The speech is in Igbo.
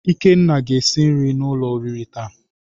Ikenna ga esi nri n'ulo oriri taa.